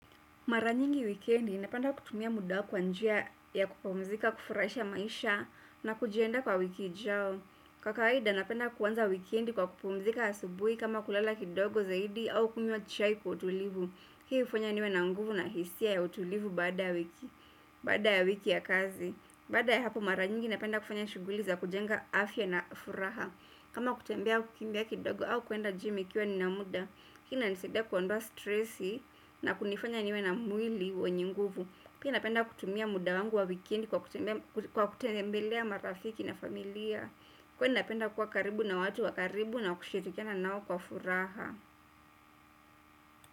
Mara nyingi weekendi napenda kutumia muda kwa njia ya kupumzika kufurahisha maisha na kujiandakwa wiki ijao. Kwa kawaida napenda kuanza wikendi kwa kupumzika asubuhi au kulala kidogo zaidi au kunywa chai kwa utulivu hii hufanya niwe na nguvu na hisia ya utulivu baada ya wiki ya kazi. Baada ya hapo mara nyingi napenda kufanya shuguli za kujenga afya na furaha. Kama kutembea kukimbia kidogo au kwenda gym nikiwa na muda hii inanisaidia kuondoa stressi na kunifanya niwe na mwili wenye nguvu pia napenda kutumia muda wangu wa wikendi kwa kutembelea marafiki na familia kuwa napenda kuwa karibu na watu wa karibu na kushitrkiana nao kwa furaha.